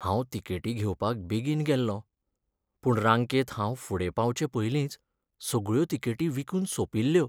हांव तिकेटी घेवपाक बेगीन गेल्लों, पूण रांकेंत हांव फुडें पावचे पयलींच सगळ्यो तिकेटी विकून सोंपिल्ल्यो.